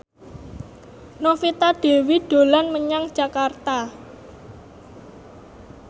Novita Dewi dolan menyang Jakarta